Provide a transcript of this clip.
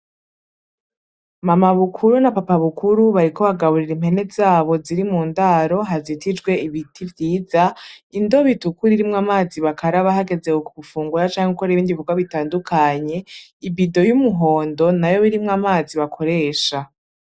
Mama bukuru na papa bukuru bariko bagaburira impene zabo ziri mu ndaro hazitijwe ibiti vyiza. Indobo itukura irimwo amazi bakaraba hageze gufungura canke gukora ibindi bikorwa bitandukanye. Ibido y’umuhondo nayo yoba irimwo amazi bakoresha.